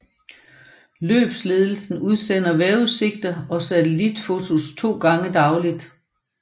Løbsledelsen udsender vejrudsigter og satellitfotos to gange dagligt